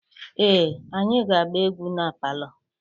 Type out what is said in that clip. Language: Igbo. Ee, anyị ga-agba egwu na palọ.